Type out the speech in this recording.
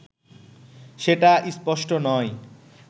সেটা স্পষ্ট নয়